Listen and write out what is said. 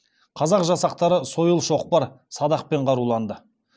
қазақ жасақтары сойыл шоқпар садақпен қаруланды